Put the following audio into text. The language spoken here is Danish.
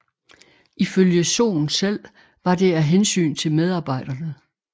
Ifølge Sohn selv var det af hensyn til medarbejderne